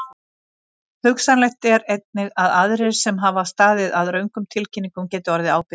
Hugsanlegt er einnig að aðrir sem hafa staðið að röngum tilkynningum geti orðið ábyrgir.